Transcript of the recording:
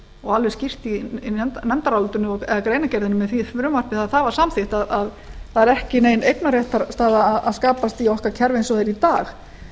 og alveg skýrt í nefndarálitinu eða í greinargerðinni með því frumvarpi þegar það var samþykkt að það er ekki nein eignarréttarstaða að skapast í okkar kerfi eins og það er í dag